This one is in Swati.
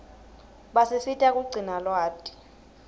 basisita kugcina lwati